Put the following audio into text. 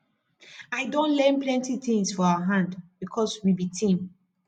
i don learn plenty tins for her hand because we be team